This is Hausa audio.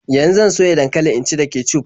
Yan zan soya dankali in ci da kecuf.